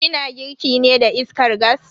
Ki na girki ne da iskar gas?